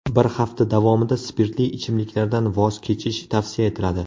Bir hafta davomida spirtli ichimliklardan voz kechish tavsiya etiladi.